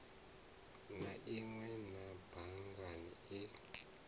na inwe a bannga i